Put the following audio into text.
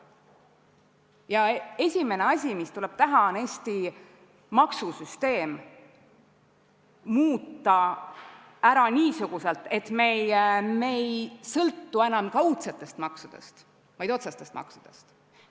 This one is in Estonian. Ja esimene asi, mis tuleb teha, on Eesti maksusüsteemi muuta niimoodi, et me ei sõltu enam kaudsetest maksudest, vaid otsestest maksudest.